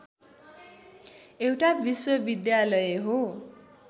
एउटा विश्वविद्यालय हो